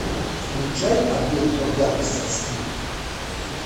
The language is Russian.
включай обмен по гангстерски